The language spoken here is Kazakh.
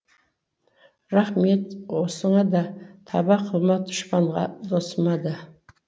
рахмет осыңа да таба қылма дұшпанға досыма да